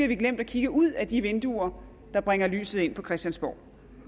vi glemt at kigge ud af de vinduer der bringer lyset ind på christiansborg